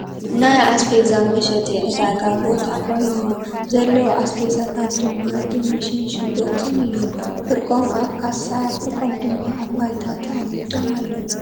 ናይ ኣስቤዛ መሸጢ ዕዳጋ ቦታ ኾይኑ ዘለዉ ኣስቤዛታት ድማ ድንሽን ሽጉርቲን እዩም ፍርቖም ኣፍ ካሳ ፍርቖም ድማ ኣብ ባይታ ተቐሚጦም ኣለዉ ።